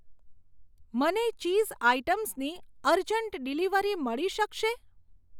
મને ચીઝ આઇટમ્સની urgent delivery મળી શકશે?